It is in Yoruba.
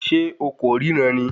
Ṣé o kò ríran ni